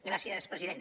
gràcies president